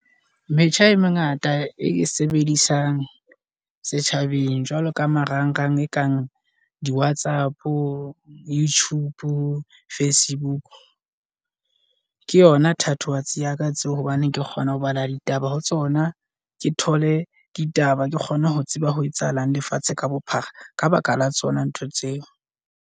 Metjha e mengata e ke sebedisang setjhabeng. Jwalo ka marangrang e kang di-WhatsApp-o, YouTube-o, Facebook ke yona thatohatsi ya ka tseo. Hobane ke kgona ho bala ditaba ho tsona, ke thole ditaba. Ke kgone ho tseba ho etsahalang lefatshe ka bophara ka ba ka la tsona ntho tseo.